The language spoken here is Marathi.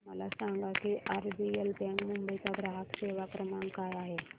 मला सांगा की आरबीएल बँक मुंबई चा ग्राहक सेवा क्रमांक काय आहे